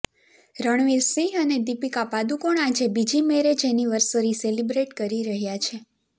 રણવીર સિંહ અને દીપિકા પાદુકોણ આજે બીજી મેરેજ અનિવર્સરી સેલિબ્રેટ કરી રહ્યા છે